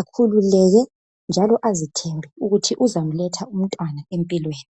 akhululeke njalo azithembe ukuthi uzamletha umntwana empilweni